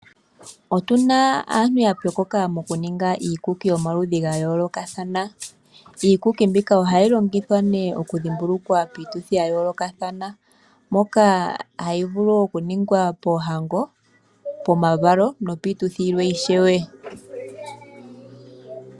Otu na aantu ya pyokoka mokuninga iikuki yomaludhi ga yoolokathana. Iikuki mbika ohayi longithwa nee piituthidhimbuluko oyindji ngaashi iituthi yokudhimbulukwa omavalo, iituthi yoohango niikwawo oyindji.